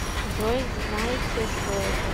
джой знаете что это